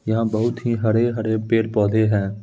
यहाँ बहुत ही हरे-हरे पेड़-पौधे हैं।